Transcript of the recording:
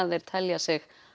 þeir telja sig